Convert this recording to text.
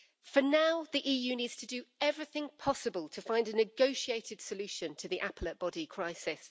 For now, the EU needs to do everything possible to find a negotiated solution to the Appellate Body crisis.